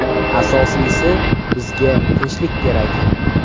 Asosiysi bizga tinchlik kerak.